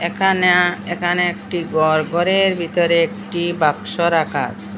একানে একানে একটি গর গরের বিতরে একটি বাক্স রাখা আসে।